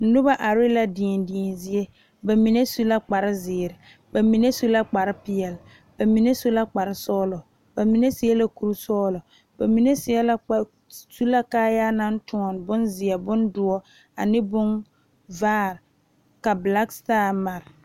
Noba are la deɛdeɛ zie bamine su la kpare ziiri bamine su la kpare peɛle bamine su la kpare sɔglɔ bamine seɛ la kuri sɔglɔ bamine seɛ la kpare su la kaaya naŋ ziɛ bondoɔre black star mare.